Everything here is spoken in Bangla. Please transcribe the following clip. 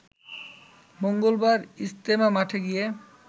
মঙ্গলবার ইজতেমা মাঠে গিয়ে